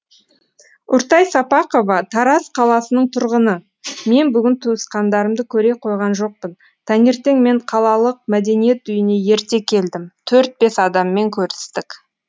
үртай сапақова тараз қаласының тұрғыны мен бүгін туысқандарымды көре қойған жоқпын таңертең мен қалалық мәдениет үйіне ерте келдім төрт бес адаммен көрістік